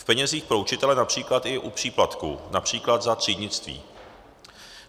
V penězích pro učitele například i u příplatků, například za třídnictví.